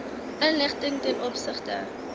inligting ten opsigte